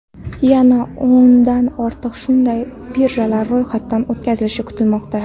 Yana o‘ndan ortiq shunday birjalar ro‘yxatdan o‘tkazilishni kutmoqda.